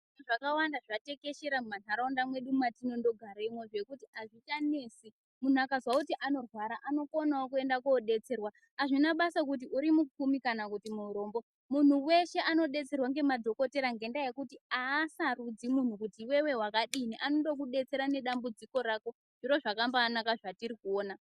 Zvakawanda zvatekeshera mumanharaunda mwedu mwatindonogara zvekuti azvichanesi munhu akazwe kuti anorwara anokonawo kuenda kodetserwa azvina basa kuti urimupfumi kana murombo munhu weshe anodetserwa ngemadhokodheya ngendaya yekuti asarudzi munhu kuti iwewe wakadini anondokudetsera nedambudziko rako zviro zvakambanak zvatirikuona.